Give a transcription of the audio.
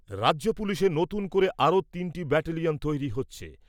রাজ্য পুলিশে নতুন করে আরও তিনটি ব্যাটেলিয়ন তৈরি হচ্ছে।